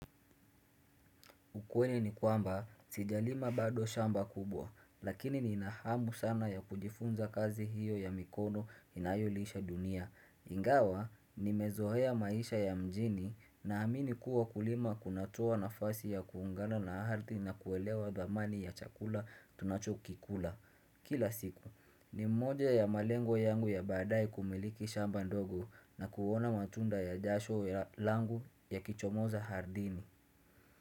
Ukweli ni kwamba, sijalima bado shamba kubwa, lakini ni inahamu sana ya kujifunza kazi hiyo ya mikono inayolisha dunia. Ingawa, nimeoea maisha ya mjini na amini kuwa kulima kunatua na fasi ya kuungana na harti na kuelewa dhamani ya chakula tunacho kikula. Kila siku, ni mmoja ya malengo yangu ya baadae kumiliki shamba ndogo na kuona matunda ya jasho langu ya kichomoza hardini.